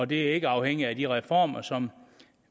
det er ikke afhængigt af de reformer som